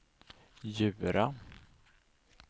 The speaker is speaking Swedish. Djura